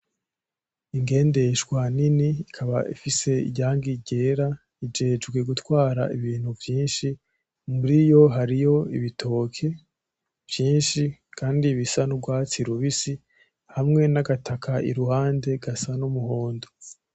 Ingendeshwa nini ikaba ifise irangi ryera, ijejwe gutwara ibintu vyinshi muri yo hariyo ibitoki vyinshi kandi bisa n'ugwatsi rubisi hamwe n'agataka iruhande gasa n'umuhondo.